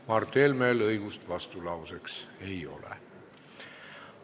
Mart Helmel õigust vastulauseks ei ole.